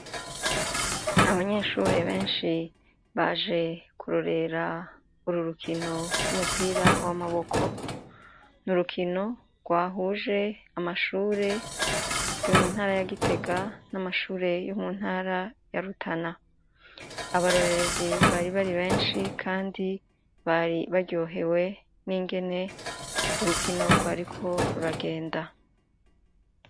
Abanyeshuri benshi baje kurorera uru rukino rw'umupira w'amaboko nurukino rwahuje amashure yo muntara ya Gitega n'amashure yo muntara ya Rutana, abarorerezi bari bari benshi kandi bari baryohewe n'ingene urukino rwariko ruragenda.